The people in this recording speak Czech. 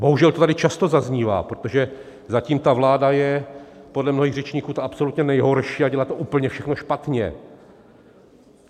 Bohužel to tady často zaznívá, protože zatím ta vláda je podle mnohých řečníků ta absolutně nejhorší a dělá to úplně všechno špatně.